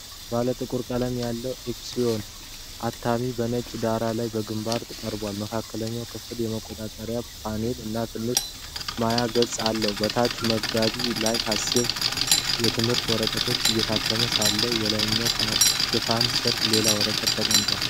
ባለ ጥቁር ቀለም ያለው ኤፕሰን XP-4105 አታሚ በነጭ ዳራ ላይ በግንባር ቀርቧል። መካከለኛው ክፍል የመቆጣጠሪያ ፓነል እና ትንሽ ማያ ገጽ አለው። በታችኛው መጋቢ ላይ የሂሳብ ትምህርት ወረቀቶች እየታተሙ ሳለ፣ የላይኛው ሽፋን ስር ሌላ ወረቀት ተቀምጧል።